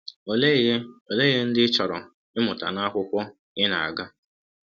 Ọlee ihe Ọlee ihe ndị ị chọrọ ịmụta n’akwụkwọ ị na-aga?